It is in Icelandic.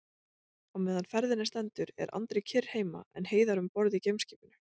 Á meðan ferðinni stendur er Andri kyrr heima en Heiðar um borð í geimskipinu.